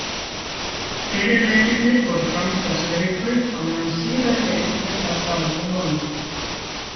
Fyrri leikirnir fóru fram í þessari viku, á meðan síðari leikirnir fara fram eftir mánuð.